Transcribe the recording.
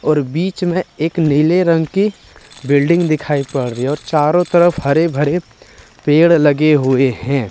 बीच में एक नीले रंग की बिल्डिंग दिखाई पड़ रही है और चारों तरफ हरे भरे पेड़ लगे हुए हैं।